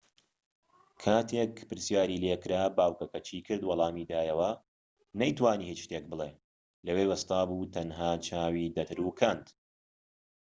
کاتێک پرسیاری لێکرا باوكەکە چی کرد وەڵامی دایەوە نەی توانی هیچ شتێک بڵێت لەوێ وەستا بوو تەنها چاوی دەتروکاند